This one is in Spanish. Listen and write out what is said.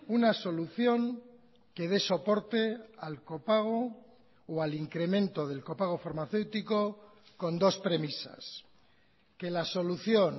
una solución que de soporte al copago o al incremento del copago farmacéutico con dos premisas que la solución